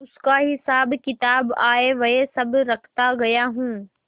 उसका हिसाबकिताब आयव्यय सब रखता गया हूँ